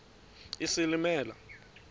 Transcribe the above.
isilimela